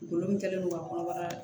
Golo min kɛlen do ka kɔnɔbara